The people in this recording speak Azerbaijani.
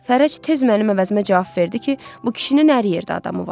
Fərəc tez mənim əvəzimə cavab verdi ki, bu kişinin hər yerdə adamı var.